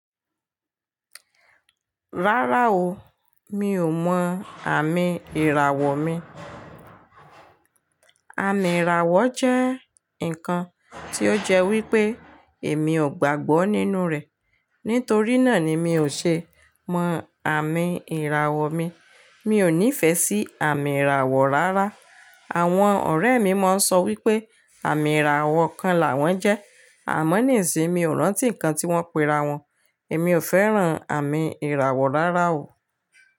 Rárá o, mi ò mọ àmì ìràwọ̀ mi. Àmì ìràwọ̀ jẹ́ ǹkan tí ó jẹ́ wípé èmi ò gbàgbọ́ nínú rẹ̀. Nítorí náà ni mi ò ṣe mọ àmì ìràwọ̀ mi. Mi ò nífẹ̀ẹ́ sí àmì ìràwọ̀ rárá. Àwọn ọ̀rẹ́ mi máa ń sọ wípé àmì ìràwọ̀ kan làwọn jẹ́ àmọ́ nìsìn mi ò rántí ǹkan tí wọ́n pe ra wọn. Èmi ò fẹ́ràn àmì ìràwọ̀ rárá o.